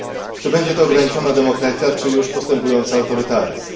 Czy będzie to ograniczona demokracja, czy już postępujący autorytaryzm?